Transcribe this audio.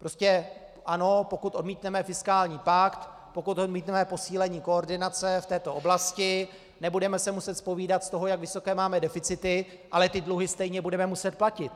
Prostě ano, pokud odmítneme fiskální pakt, pokud odmítneme posílení koordinace v této oblasti, nebudeme se muset zpovídat z toho, jak vysoké máme deficity, ale ty dluhy stejně budeme muset platit.